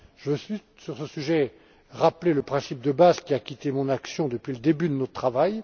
Je veux juste, sur ce sujet, rappeler le principe de base qui a guidé mon action depuis le début de notre travail.